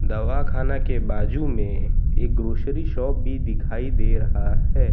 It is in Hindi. दवा खाना के बाजू में एक ग्रॉसरी शॉप भी दिखाई दे रहा है।